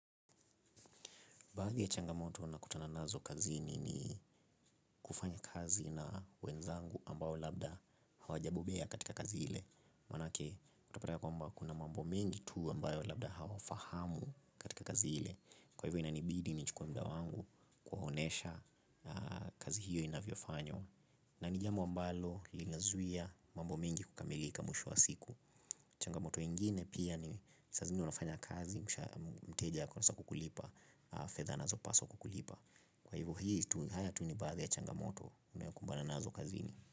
Baadhi ya changamoto nakutana nazo kazi ni kufanya kazi na wenzangu ambao labda hawajabobea katika kazi ile. Manake, utapata kwamba kuna mambo mengi tu ambayo labda hawafahamu katika kazi ile. Kwa hivyo inanibidi nichukue muda wangu kuwaonesha kazi hiyo inavyo fanywa. Na ni jambo ambalo linazuia mambo mingi kukamilika mwisho wa siku. Changamoto ingine pia ni saa zingine unafanya kazi. Mteja kwa nasa kukulipa. Fdhh anazopaswa kulipa. Kwa hivyo hii haya tunibadhi ya Changamoto Unayokumbana na zo kazini.